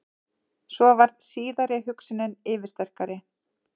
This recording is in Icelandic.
Svo varð síðari hugsunin yfirsterkari.